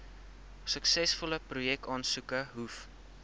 suksesvolle projekaansoeke hoef